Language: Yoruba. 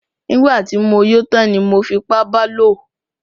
Nígbà tí mo yó tán ni mo fipá ba lò.